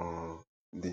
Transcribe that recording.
um dị.